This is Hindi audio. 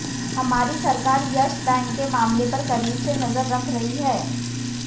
हमारी सरकार यस बैंक के मामले पर करीब से नजर रख रही है